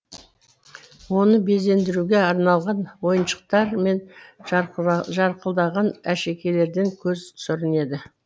оны безендіруге арналған ойыншықтар мен жарқылдаған әшекейлерден көз сүрінеді